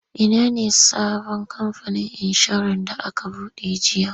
Ina ne sabon kamfanin inshorar da aka buɗe jiya?